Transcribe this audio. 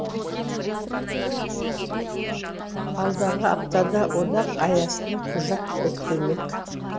алдағы аптада одақ аясында құжат бекітілмек